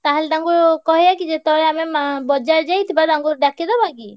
ତାହେଲେ ତାଙ୍କୁ କହିଆ କି ଯେତବେଳେ ଆମେ ମା ବଜାର ଯାଇଥିବା ତାଙ୍କୁ ଡାକିଦବା କି?